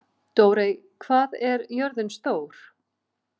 Dórey, hvað er jörðin stór?